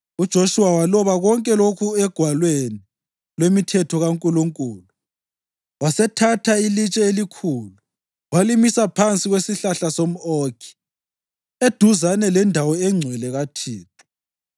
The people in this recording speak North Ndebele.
UJoshuwa waloba konke lokhu oGwalweni lwemiThetho kaNkulunkulu. Wasethatha ilitshe elikhulu walimisa phansi kwesihlahla somʼOkhi eduzane lendawo engcwele kaThixo.